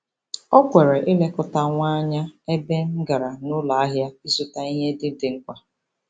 O kwere ịlekọta nwa anya ebe m gara n'ụlọahịa ịzụta ihe ndị dị mkpa.